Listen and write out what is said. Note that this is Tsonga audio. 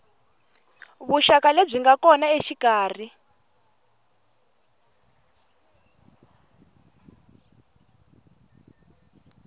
vuxaka lebyi nga kona exikarhi